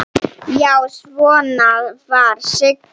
Já, svona var Sigga!